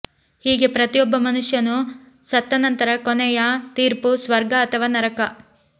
ಹೀಗೆ ಪ್ರತಿಯೊಬ್ಬ ಮನುಷ್ಯನು ಸತ್ತ ನಂತರ ಕೊನೆಯ ತೀರ್ಪು ಸ್ವರ್ಗ ಅಥವಾ ನರಕ